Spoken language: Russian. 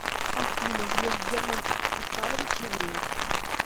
афина греф герман оскарович еврей